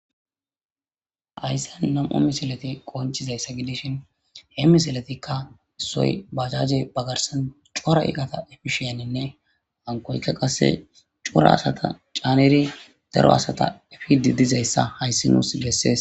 Hayisan na'mu misileti betishin he misiletika isoyi bajaje bagarsan co'ra iqata epishin nne hankoyika qasi co'ra asata ca'nidi daro asata efidi diyayisa hayisi nusi besees